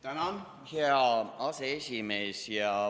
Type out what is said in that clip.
Tänan, hea aseesimees!